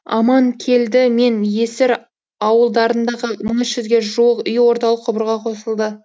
аманкелді мен есір ауылдарындағы мың үш жүзге жуық үй орталық құбырға қосылды